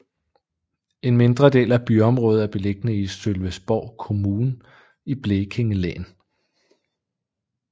En mindre del af byområdet er beliggende i Sölvesborgs kommun i Blekinge län